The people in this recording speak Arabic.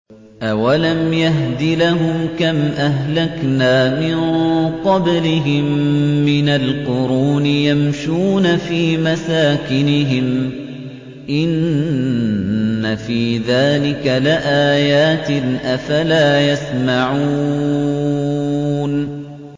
أَوَلَمْ يَهْدِ لَهُمْ كَمْ أَهْلَكْنَا مِن قَبْلِهِم مِّنَ الْقُرُونِ يَمْشُونَ فِي مَسَاكِنِهِمْ ۚ إِنَّ فِي ذَٰلِكَ لَآيَاتٍ ۖ أَفَلَا يَسْمَعُونَ